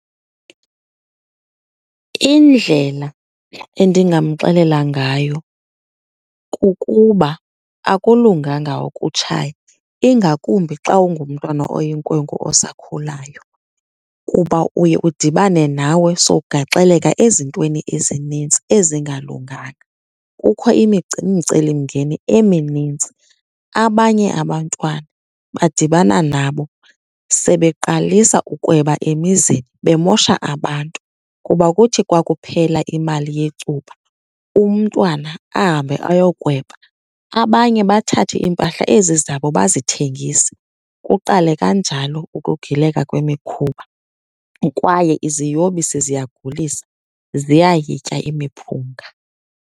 Indlela endingamxelela ngayo kukuba akulunganga ukutshaya, ingakumbi xa ungumntwana oyinkwenkwe osakhulayo kuba uye udibane nawe sowukugaxeleka ezintweni ezinintsi ezingalunganga. Kukho imicelimngeni eminintsi, abanye abantwana badibana nabo sebeqalisa ukweba emizini, bemosha abantu kuba kuthi kwakuphela imali yecuba umntwana ahambe ayokweba. Abanye bathathe iimpahla ezi zabo bazithengise, kuqale kanjalo ukugileka kwemikhuba. Kwaye iziyobisi ziyagulisa, ziyayitya imiphunga.